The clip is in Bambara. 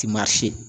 Ti maa si